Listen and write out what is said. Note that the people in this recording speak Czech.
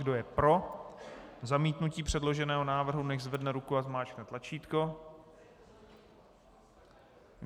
Kdo je pro zamítnutí předloženého návrhu, nechť zvedne ruku a zmáčkne tlačítko.